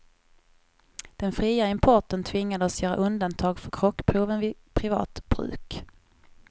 Den fria importen tvingade oss göra undantag för krockproven vid privat bruk.